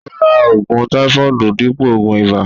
Ó ra ògùn táífọọdu dípò ògùn ìbà